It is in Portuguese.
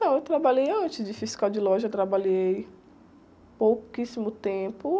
Não, eu trabalhei antes de fiscal de loja, trabalhei pouquíssimo tempo.